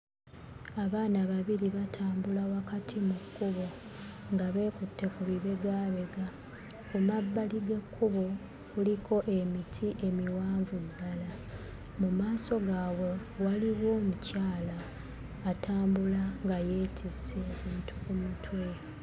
Abaana babiri batambula wakati mu kkubo nga beekutte ku bibegaabega. Ku mabbali g'ekkubo kuliko emiti emiwanvu ddala. Mu maaso gaabwe waliwo omukyala atambula nga yeetisse ebintu ku mutwe.